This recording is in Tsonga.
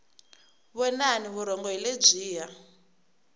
vonani vurhonga hi lebyiya